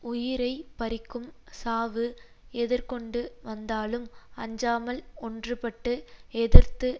உயிரை பறிக்கும் சாவு எதிர்கொண்டு வந்தாலும் அஞ்சாமல் ஒன்றுபட்டு எதிர்த்து